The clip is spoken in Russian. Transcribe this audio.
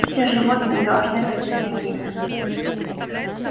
все животные должны ходить нагими